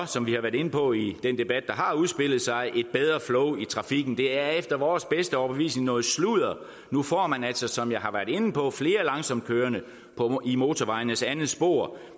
som vi har været inde på i den debat der har udspillet sig at det et bedre flow i trafikken det er efter vores bedste overbevisning noget sludder nu får man altså som jeg har været inde på flere langsomtkørende i motorvejenes andet spor